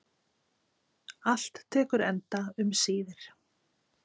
Allt tekur enda um síðir.